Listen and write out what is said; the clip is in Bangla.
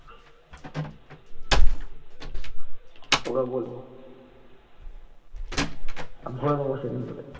তোকে বলবো ভোরে দেব সেই দিন তোকে